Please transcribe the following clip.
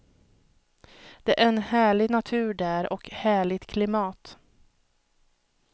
Det är en härlig natur där och härligt klimat.